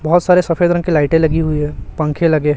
बहुत सारे सफेद रंग के लाइटें लगी हुई है पंखे लगे है।